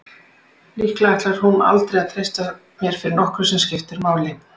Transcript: Líklega ætlaði hún aldrei að treysta mér fyrir nokkru sem skipti máli.